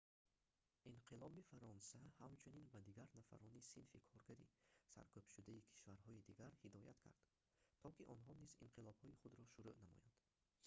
инқилоби фаронса ҳамчунин ба дигар нафарони синфи коргари саркӯбшудаи кишварҳои дигар ҳидоят кард то ки онҳо низ инқилобҳои худро шуруъ намоянд